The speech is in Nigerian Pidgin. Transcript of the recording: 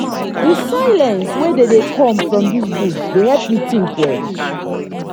di silence wey dey dey come from dis bush dey help me tink well.